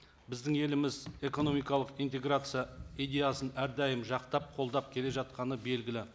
біздің еліміз экономикалық интеграция идеясын әрдайым жақтап қолдап келе жатқаны белгілі